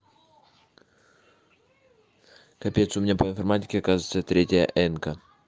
капец у меня по информатике оказывается третья энка